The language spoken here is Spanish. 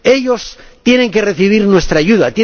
Ellos tienen que recibir nuestra ayuda